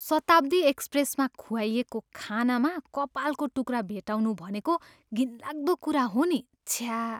शताब्दी एक्सप्रेसमा खुवाइएको खानामा कपालको टुक्रा भेट्टाउँनु भनेको घिनलाग्दो कुरा हो नि, छ्या।